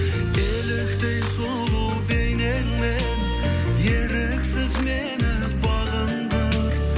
еліктей сұлу бейнеңмен еріксіз мені бағындыр